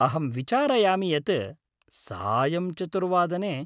अहं विचारयामि यत् सायं चतुर्वादने।